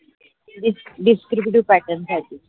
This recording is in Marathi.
discriptive pattern साठी.